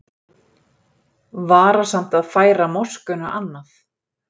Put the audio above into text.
Varasamt að færa moskuna annað